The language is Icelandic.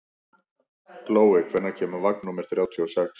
Glói, hvenær kemur vagn númer þrjátíu og sex?